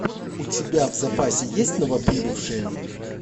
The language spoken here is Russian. у тебя в запасе есть новоприбывшие